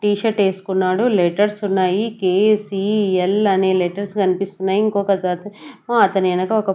tea shirt వేసుకున్నాడు letters ఉన్నాయి K C L అనే లెటర్స్ కనిపిస్తున్నాయి ఇంకొ ఒక అతను అతని వెనక ఒక --